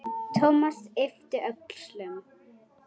Thomas yppti öxlum.